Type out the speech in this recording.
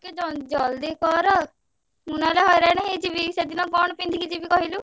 ଟିକେ ~ଜ ଜଲଦି କର। ମୁଁ ନହେଲେ ହଇରାଣ ହେଇଯିବି, ସେଦିନ କଣ ପିନ୍ଧିକି ଯିବି କହିଲୁ?